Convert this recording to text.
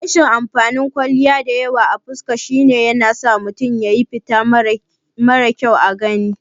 Rashin amfanin kwalliya diyawa a fuska shine yanasa mutum ya yi fita marar kyau a gani